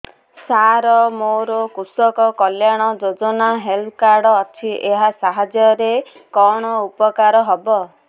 ସାର ମୋର କୃଷକ କଲ୍ୟାଣ ଯୋଜନା ହେଲ୍ଥ କାର୍ଡ ଅଛି ଏହା ସାହାଯ୍ୟ ରେ କଣ ଉପକାର ହବ